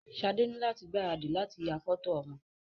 Sade ni lati gbaradì lati ya fọto ọmọ.